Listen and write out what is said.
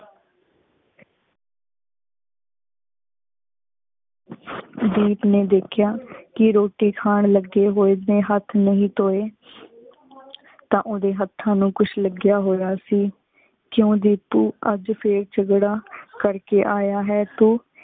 ਦੀਪ ਨੀ ਦੇਖ੍ਯਾ ਕੀ ਰੋਟੀ ਖਾਨ ਲਗੀ ਹੋਏ ਨੀ ਹੇਠ ਨਹੀ ਧੋਏ ਤਾ ਓਦੇ ਹਥਾਂ ਨੂ ਕੁਛ ਲਗਿਆ ਹੋਯਾ ਸੀ, ਕਿਊ ਰੇ ਤੂ ਅਜ ਫਿਰ ਝਗੜਾ ਕਰ ਕੇ ਆਯਾ ਹੈ ਤੂ?